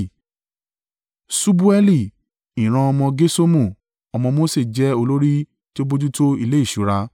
Ṣubaeli, ìran ọmọ Gerṣomu ọmọ Mose jẹ́ olórí tí ó bojútó ilé ìṣúra.